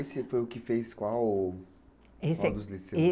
Esse foi o que fez qual